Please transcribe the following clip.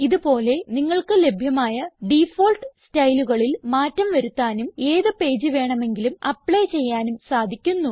ഇത് പോലെ നിങ്ങൾക്ക് ലഭ്യമായ ഡിഫാൾട്ട് സ്റ്റൈലുകളിൽ മാറ്റം വരുത്താനും ഏത് പേജ് വേണമെങ്കിലും ആപ്ലി ചെയ്യാനും സാധിക്കുന്നു